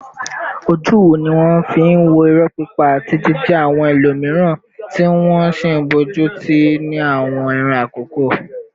Ojú wo ni wọ́n fi ń wo irọ́ pípa àti jíjẹ́ àwọn ẹlòmíràn, tí wọ́n sì ń bójú tó ní àwọn ìran àkọ́kọ́?